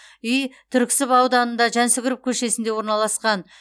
үй түрксіб ауданында жансүгіров көшесінде орналасқан